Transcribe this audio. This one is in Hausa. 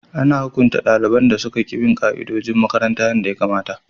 Ana hukunta daliban da suka ki bin ka'idojin makaranta yadda ya kamata.